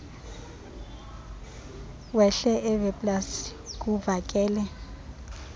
wehle eveeplaas kuvakele